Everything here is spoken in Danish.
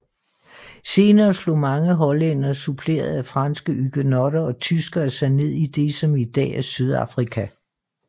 Senere slog mange hollændere suppleret af franske hugenotter og tyskere sig ned i det som i dag er Sydafrika